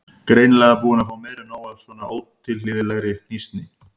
Greinilega búin að fá meira en nóg af svona ótilhlýðilegri hnýsni.